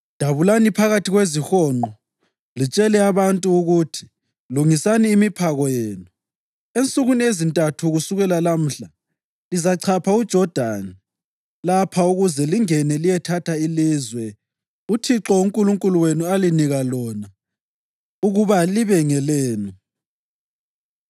“Dabulani phakathi kwezihonqo litshele abantu ukuthi, ‘Lungisani imiphako yenu. Ensukwini ezintathu kusukela lamhla lizachapha uJodani lapha ukuze lingene liyethatha ilizwe uThixo uNkulunkulu wenu alinika lona ukuba libe ngelenu!’ ”